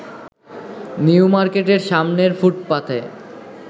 নিউমার্কেটের সামনের ফুটপাথে